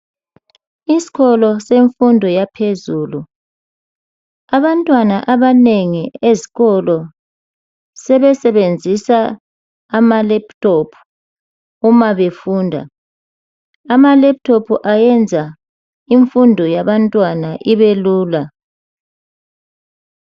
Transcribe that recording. Isikolo semfundo yaphezulu, abantwana abanengi ezikolo sebe sebenzisa ama lephuthophu uma befunda. Amalephuthophu ayenza imfundo yabantwana ibe lula.